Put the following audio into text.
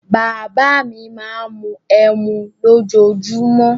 Bàbá à mi máa ń mu ẹmu lójoojúmó.